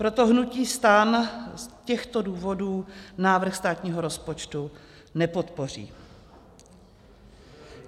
Proto hnutí STAN z těchto důvodů návrh státního rozpočtu nepodpoří.